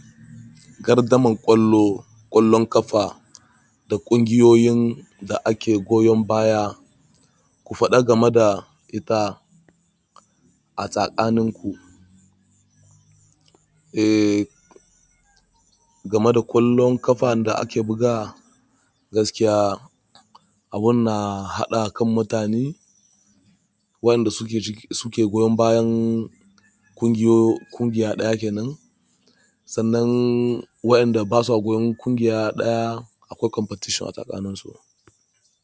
Gardaman ƙwallo, ƙwallon ƙafa da ƙungiyoyin da ake goyon baya, ku faɗa game da ita a tsakaninku. Eh, game da ƙwallon ƙafa da ake bugawa gaskiya abun na haɗa kan mutane. Wayanda suke ciki suke goyon bayan ƙungiya ɗaya kenan. Sannan wayanda basu goyon ƙungiya ɗaya akwai competition a tsakanin su.